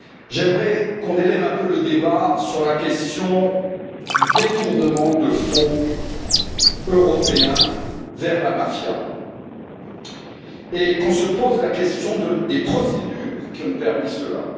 J'aimerais qu'on élève un peu le débat sur la question du détournement de fonds européens vers la mafia et qu'on se pose la question des procédures qui ont permis cela.